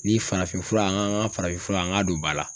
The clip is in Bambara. Ni farafinfura an ka an ka farafin fura an ka don ba la